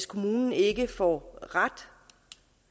kommunen ikke får ret